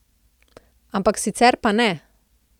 Ampak sicer pa ne.